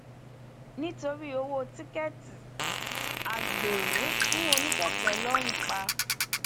nítorí ọwọ tíkẹẹtì agbéró fún oníkèké lọrun pa